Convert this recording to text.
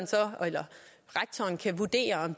eller rektoren kan vurdere